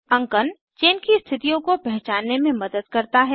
अंकन चेन की स्थितियों को पहचानने में मदद करता है